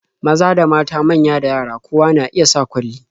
Maza da mata, manya da yara, kowa na iya sa kwalli.